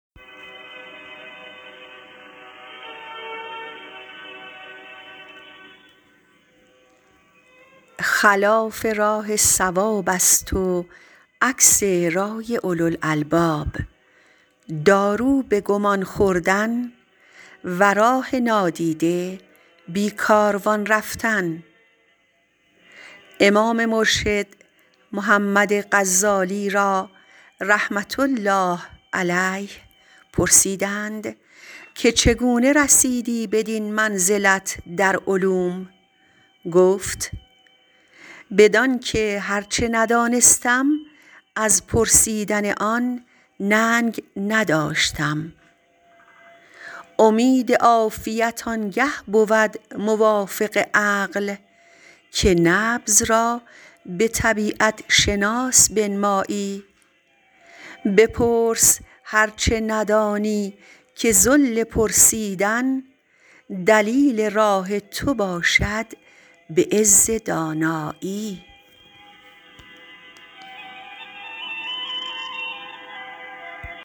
خلاف راه صواب است و عکس رای اولوالالباب دارو به گمان خوردن و راه نادیده بی کاروان رفتن امام مرشد محمد غزالی را رحمة الله علیه پرسیدند چگونه رسیدی بدین منزلت در علوم گفت بدان که هر چه ندانستم از پرسیدن آن ننگ نداشتم امید عافیت آن گه بود موافق عقل که نبض را به طبیعت شناس بنمایی بپرس هر چه ندانی که ذل پرسیدن دلیل راه تو باشد به عز دانایی